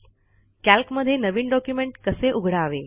कॅल्कमधे नवीन डॉक्युमेंट कसे उघडावे